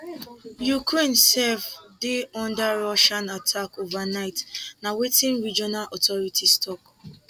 ukraine sef dey under russian attack overnight na wetin regional authorities tok